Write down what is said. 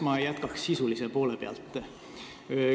Ma jätkan eelnõu sisulise poolega.